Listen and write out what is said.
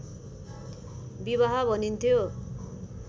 विवाह भनिन्थ्यो